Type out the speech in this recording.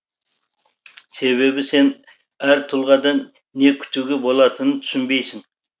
себебі сен әр тұлғадан не күтуге болатынын түсінбейсің